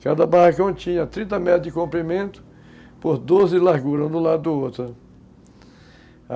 Cada barracão tinha trinta metros de comprimento por doze de largura, um do lado do outro.